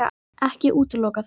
Ekki útiloka það.